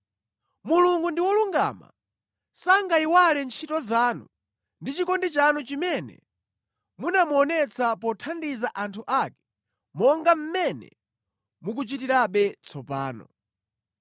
Mulungu ndi wolungama, sangayiwale ntchito zanu ndi chikondi chanu chimene munamuonetsa pothandiza anthu ake monga mmene mukuchitirabe tsopano.